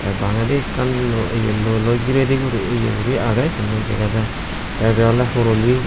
te bangedi ekkan luo ye luoloi giredi guri ye guri agey siyen ow sega jaai te ibey oley horoli beh.